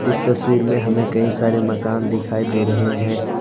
इस तस्वीर में हमे कई सारे मकान दिखाई दे रहे है।